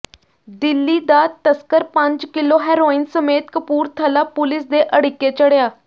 ਦਿੱਲੀ ਦਾ ਤਸਕਰ ਪੰਜ ਕਿੱਲੋ ਹੈਰੋਇਨ ਸਮੇਤ ਕਪੂਰਥਲਾ ਪੁਲਿਸ ਦੇ ਅੜਿੱਕੇ ਚੜ੍ਹਿਆ